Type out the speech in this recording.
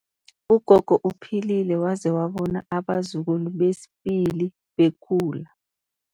Ugogo uphilile waze wabona abazukulu besibili bekhula.